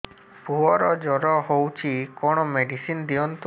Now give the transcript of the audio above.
ପୁଅର ଜର ହଉଛି କଣ ମେଡିସିନ ଦିଅନ୍ତୁ